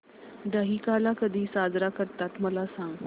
दहिकाला कधी साजरा करतात मला सांग